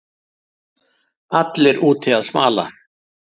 Allir úti að smala